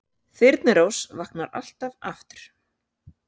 Þyrnirós vaknar alltaf aftur